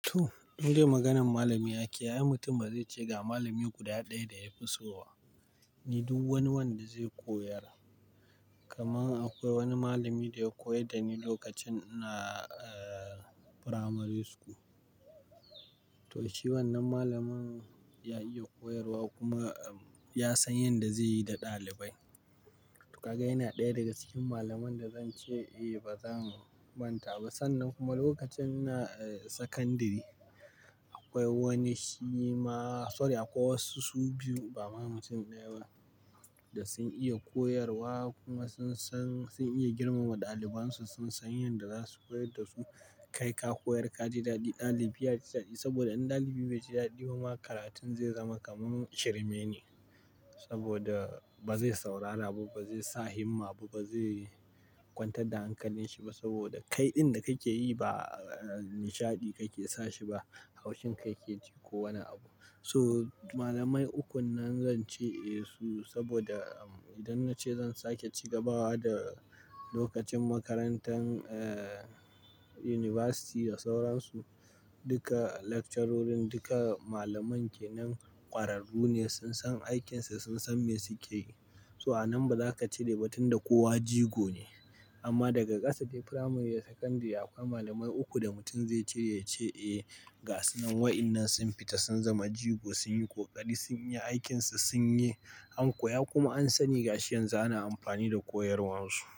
To, in dai maganan malami ake, ai mutum ba zai ce ga malami guda ɗaya da ya fi so ba. Ni duk wani wanda zai koyar. Kaman akwai wani malami da ya koyar da ni lokacin ina eh Primary School. To shi wannan malamin ya iya koyarwa kuma ya san yanda zai yi da ɗalibai. To kaga yana ɗaya daga cikin malamun da zan ce eh ba zan manta ba. Sannan kuma lokacin ina eh Secondary, akwai wani shi ma sorry akwai wasu su biyu ba mamacin ɗaya ba da sun iya koyarwa kuma sun san sun iya girmama ɗaliban su. Sun san yanda za su koyar da su. Kai ka koyar ka ji daɗi, ɗalibi ya ji daɗi saboda in ɗalibi bai ji daɗi kuma karatun zai zama kaman shirme ne. Saboda ba zai saurara ba, ba zai sa himma ba, ba zai kwantar da hankalin shi ba saboda kai ɗin da kake yi ba nishaɗi kake sa shi ba. Haushen kai yake ji ko wani abu. So malamai ukun nan zan ce eh su saboda idan na ce zan sake cigabawa da lokacin makarantan eh University da sauran su, duka lecturer duka malaman ke nan ƙwararru ne. Sun san aikinsu, sun san me suke yi. To a nan ba za ka cire ba tunda kowa jigo ne. Amma daga ƙasa dai Primary da Secondary akwai malamai uku da mutum zai ce ya ce eh ga su nan wa'innan sun fita sun zama jigo, sun yi ƙoƙari, sun yi aikinsu, sun yi an koya kuma an sani gashi yanzu ana amfani da koyarwar su.